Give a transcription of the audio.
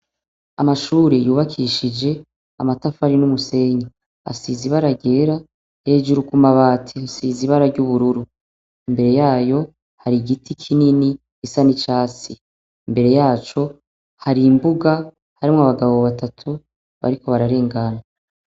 Amashure yubakishije amatafari n'umusenyi asiz’ibara ryera, hejuru ku mabate siza ibara ry'ubururu, imbere yayo hari igiti kinini isa ni casi imbere yaco hari imbuga harimwo abagabo batatu bariko bararengana.